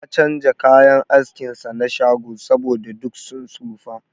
Ya chanja kayan askin sa na shago, saboda duk sun tsofa.